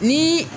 Ni